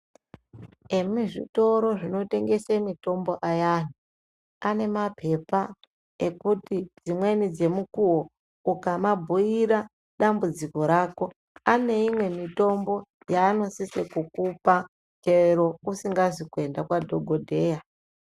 Imizvitoro zvinotengese mitombo ayani anemapepa ekuti dzimweni dzemukuwo ukamabhuira dambudziko rako aneimwe mitombo yanosise kukupa chero usingazi kuenda kwadhokodheya